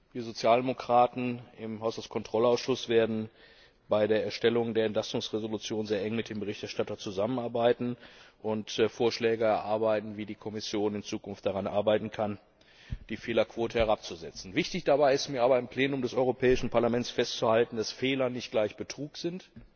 Wir Sozialdemokraten im Haushaltskontrollausschuss werden bei der Erstellung der Entlastungsentschließung sehr eng mit dem Berichterstatter zusammenarbeiten und Vorschläge erarbeiten, wie die Kommission in Zukunft daran arbeiten kann, die Fehlerquote herabzusetzen. Wichtig dabei ist mir aber, im Plenum des Europäischen Parlaments festzuhalten, dass Fehler nicht gleich Betrug sind,